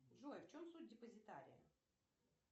джой в чем суть депозитария